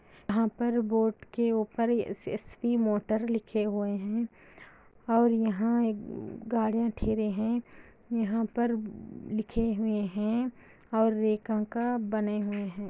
यहाँ पर बोर्ड के ऊपर एस_एस_वी मोटर लिखे हुए हैं और यहाँ एक गार्डेन खड़े हैं यहाँ पर लिखे हुए हैं और बने हुए हैं।